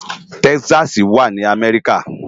Tèkìsàsí wá ni Amèriká